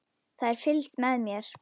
Það er fylgst með mér.